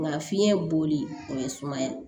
Nka fiɲɛ boli o ye sumaya